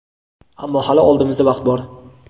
Ammo hali oldimizda vaqt bor.